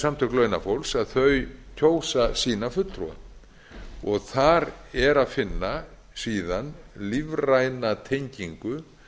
samtök launafólks kjósa sína fulltrúa og þar er að finna síðan lífræna tengingu